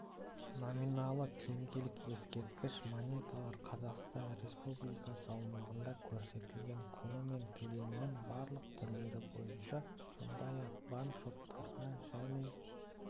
номиналы теңгелік ескерткіш монеталар қазақстан республикасыаумағында көрсетілген құнымен төлемнің барлық түрлері бойынша сондай-ақ банк шоттарына және